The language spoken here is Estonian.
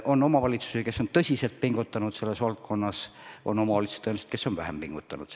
On omavalitsusi, kes on tõsiselt pingutanud selles valdkonnas, ja on omavalitsusi, kes on vähem pingutanud.